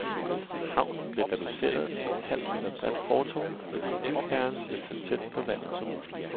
Havnen bliver reduceret til et halvt meter bredt fortov, fordi bygherren vil så tæt på vandet som muligt.